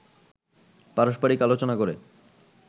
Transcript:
পারস্পারিক আলোচনা করে